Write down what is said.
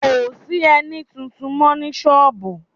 Kò sí ẹní tuntun mọ́ ní sọ́ọ̀bù